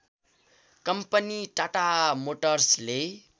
company Tata मोटर्सले